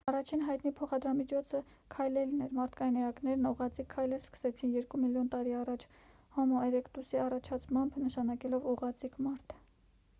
առաջին հայտնի փոխադրամիջոցը քայլելն էր մարդկային էակներն ուղղաձիգ քայլել սկսեցին երկու միլիոն տարի առաջ հոմո էրեկտուսի առաջացմամբ նշանակելով ուղղաձիգ մարդ։